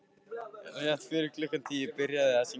Rétt fyrir klukkan tíu byrjaði að rigna.